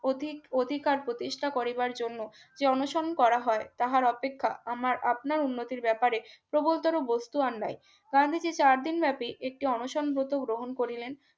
অধিক অধিকার প্রতিষ্ঠা করিবার জন্য যে অনশন করা হয় তাহার অপেক্ষা আমার আপনা উন্নতির ব্যাপারে প্রবলতর বস্তু আর নাই চার দিন ব্যাপী একটি অনশন ব্রত গ্রহণ করিলেন